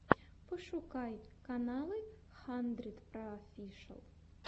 пошукай каналы хандридпроофишиал